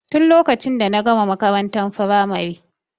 Tin lokacin da na gama makarantar firamare.